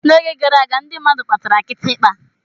N'oge gara aga, ndị mmadụ kpatara kitikpa.